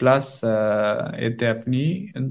Plus আহ এতে আপনি